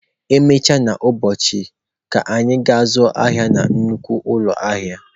Emechaa n'ụbọchị, ka anyị gaa zụọ ahịa na nnukwu ụlọ ahịa